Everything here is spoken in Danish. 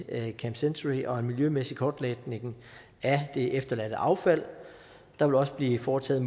camp century og en miljømæssig kortlægning af det efterladte affald der vil også blive foretaget